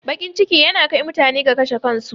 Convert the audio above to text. Baƙin ciki yana kai mutane ga kashe kansu